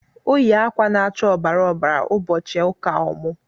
Ọ yị akwa na'acha ọbara ọbara ụbọchị ụka ọmụ.